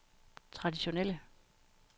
traditionelle